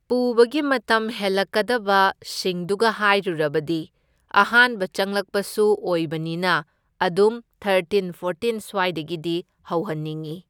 ꯄꯨꯕꯒꯤ ꯃꯇꯝ ꯍꯦꯜꯂꯛꯀꯗꯕ ꯁꯤꯡꯗꯨꯒ ꯍꯥꯏꯔꯨꯔꯕꯗꯤ ꯑꯍꯥꯟꯕ ꯆꯪꯂꯛꯄꯁꯨ ꯑꯣꯏꯕꯅꯤꯅ ꯑꯗꯨꯝ ꯊꯔꯇꯤꯟ ꯐꯣꯔꯇꯤꯟ ꯁ꯭ꯋꯥꯏꯗꯒꯤꯗꯤ ꯍꯧꯍꯟꯅꯤꯡꯏ꯫